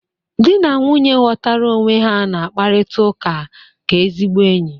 Dị na nwunye ghọtara onwe ha na-akparịta ụka ka ezigbo enyi.